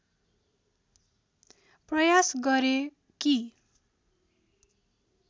प्रयास गरे कि